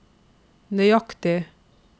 nøyaktig